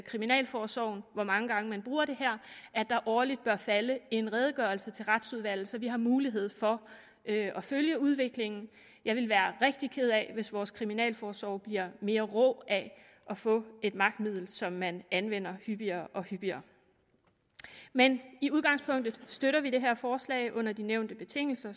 kriminalforsorgen hvor mange gange man bruger det her at der årligt bør falde en redegørelse til retsudvalget så vi har mulighed for at følge udviklingen jeg vil være rigtig ked af hvis vores kriminalforsorg bliver mere rå af at få et magtmiddel som man anvender hyppigere og hyppigere men i udgangspunktet støtter vi det her forslag under de nævnte betingelser